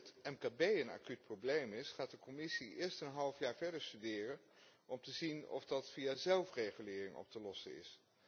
Hoewel dat voor het mkb een acuut probleem is, gaat de Commissie eerst een half jaar verder studeren om te zien of dat via zelfregulering op te lossen is.